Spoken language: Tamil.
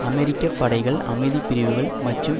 அமெரிக்க படைகள் அமைதி பிரிவுகள் மற்றும்